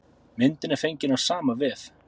Myndin er fengin af sama vef.